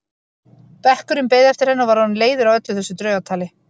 Bekkurinn beið eftir henni og var orðinn leiður á öllu þessu draugatali.